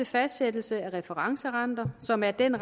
fastsættelse af referencerenter som er den